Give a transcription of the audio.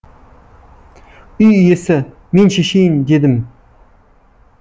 үй иесі мен шешейін дедім